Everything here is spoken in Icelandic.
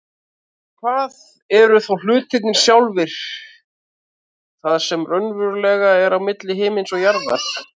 En hvað eru þá hlutirnir sjálfir, það sem raunverulega er milli himins og jarðar?